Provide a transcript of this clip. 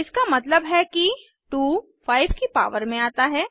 इसका मतलब है कि 2 5 की पावर में आता है